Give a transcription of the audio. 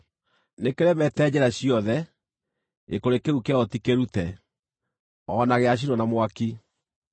Nĩkĩremete njĩra ciothe; gĩkũrĩ kĩu kĩayo ti kĩrute, o na gĩacinwo na mwaki.